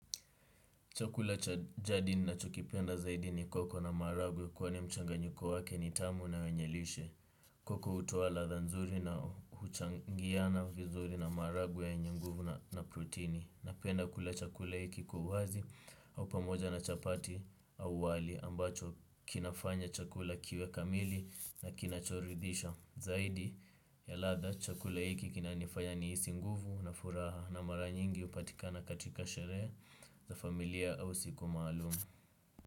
Chakula cha jadi ninachokipenda zaidi ni koko na maharagwe kwani mchanganyiko wake ni tamu na wenye lishe. Koko hutoa ladha nzuri na huchangiana vizuri na maharagwe yenye nguvu na protini. Napenda kula chakula hiki kwa uhazi au pamoja na chapati au wali ambacho kinafanya chakula kiwe kamili na kinachoridhisha. Zaidi ya ladha chakula iki kinanifanya niisi nguvu na furaha na mara nyingi upatikana katika sherehe za familia au siku maalum.